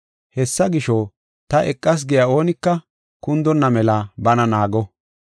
Hessa gisho, ta eqas giya oonika kundonna mela bana naago.